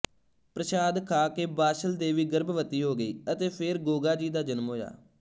ਪ੍ਰਸ਼ਾਦ ਖਾਕੇ ਬਾਛਲ ਦੇਵੀ ਗਰਭਵਤੀ ਹੋ ਗਈ ਅਤੇ ਫੇਰ ਗੋਗਾਜੀ ਦਾ ਜਨਮ ਹੋਇਆ